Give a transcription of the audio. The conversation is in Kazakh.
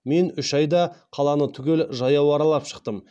мен үш айда қаланы түгел жаяу аралап шықтым